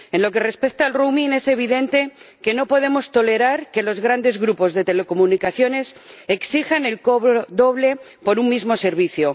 En lo que respecta al roaming es evidente que no podemos tolerar que los grandes grupos de telecomunicaciones exijan el cobro doble por un mismo servicio.